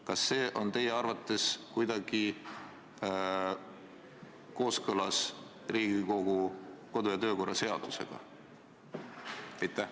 Kas see on teie arvates kuidagi kooskõlas Riigikogu kodu- ja töökorra seadusega?